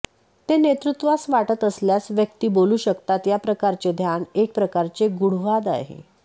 ते नेतृत्वास वाटत असल्यास व्यक्ती बोलू शकतात या प्रकारचे ध्यान एक प्रकारचे गूढवाद आहे